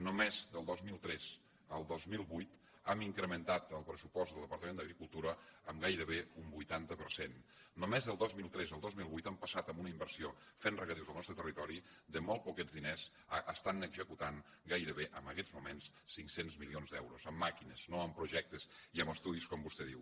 només del dos mil tres al dos mil vuit hem incrementat el pressupost del departament d’agricultura en gairebé un vuitanta per cent només del dos mil tres al dos mil vuit hem pas sat d’una inversió fent regadius al nostre territori de molt poquets diners a estar executant gairebé en aquests moments cinc cents milions d’euros amb màquines no amb projectes i amb estudis com vostè diu